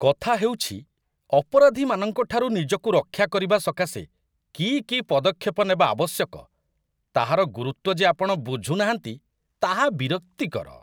କଥା ହେଉଛି, ଅପରାଧୀମାନଙ୍କଠାରୁ ନିଜକୁ ରକ୍ଷା କରିବା ସକାଶେ କି କି ପଦକ୍ଷେପ ନେବା ଆବଶ୍ୟକ, ତାହାର ଗୁରୁତ୍ୱ ଯେ ଆପଣ ବୁଝୁନାହାନ୍ତି, ତାହା ବିରକ୍ତିକର।